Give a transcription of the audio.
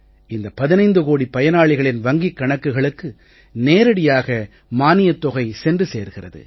இந்த 15 கோடி பயனாளிகளின் வங்கிக் கணக்குகளுக்கு நேரடியாக மானியத் தொகை சென்று சேர்கிறது